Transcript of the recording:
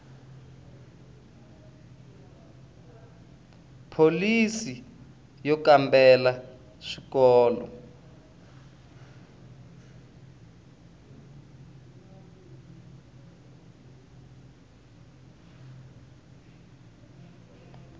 pholisi yo kambela ya swikolo